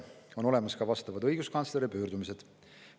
On olemas ka vastavad õiguskantsleri pöördumised.